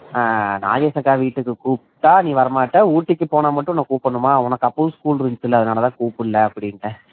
நாகேஷ் அக்கா வீட்டுக்கு கூப்பிட்டா நீ வர மாட்ட ஊட்டிக்கு போனா மட்டும் கூப்பிடனுமா அப்பவும் school இருந்துச்சில்ல அதான் கூப்பிடல அப்படின்னு சொல்லிட்டே